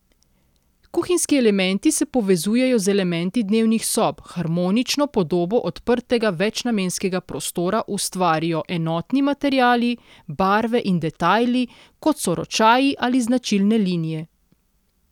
Kuhinjski elementi se povezujejo z elementi dnevnih sob, harmonično podobo odprtega večnamenskega prostora ustvarijo enotni materiali, barve in detajli, kot so ročaji ali značilne linije.